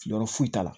Yɔrɔ foyi t'a la